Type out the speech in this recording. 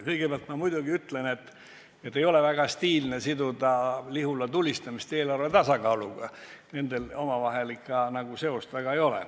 Kõigepealt ma muidugi ütlen, et ei ole väga stiilne siduda Lihula tulistamist eelarve tasakaaluga, nendel omavahel seost väga ei ole.